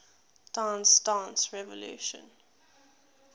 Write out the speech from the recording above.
dance dance revolution